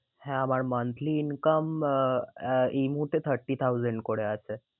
হ্যাঁ আমার monthly income ah ah এই মুহূর্তে thirty thousand করে আছে।